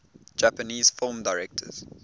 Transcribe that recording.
japanese film directors